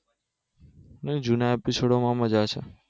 નહિ જુના episode માં મજા છે